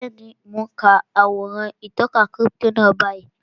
Bẹ́ẹ̀ni, mo n ka àwòrán ìtọka kírípítò náà báyìí